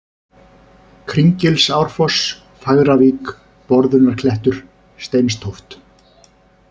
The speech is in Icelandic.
Kringilsárfoss, Fagravík, Borðunarklettur, Steinstóft